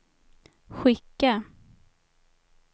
skicka